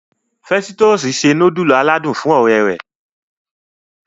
Festusì se nudulu aládùn fún ọ̀rẹ́ rẹ̀.